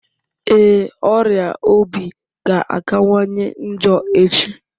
Ee, ọrịa obi ga-akawanye njọ echi